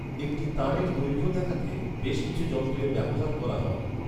একটি তানের দৈর্ঘ্য দেখাতে, বেশ কিছু যন্ত্রের ব্যবহার করা হয়।